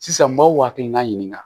Sisan n b'aw hakilina ɲininka